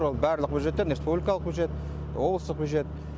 ол барлық бюджеттен республикалық бюджет облыстық бюджет